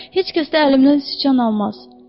Heç kəs də əlimdən siçan almaz.